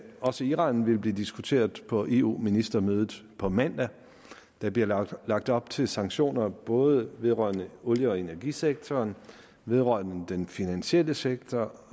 også iran vil blive diskuteret på eu ministermødet på mandag der bliver lagt lagt op til sanktioner både vedrørende olie og energisektoren vedrørende den finansielle sektor